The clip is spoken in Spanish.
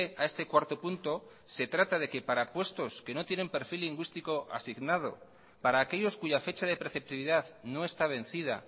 a este cuarto punto se trata de que para puestos que no tienen perfil lingüístico asignado para aquellos cuya fecha de preceptividad no está vencida